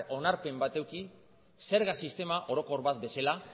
onarpen bat eduki zerga sistema orokor bat bezala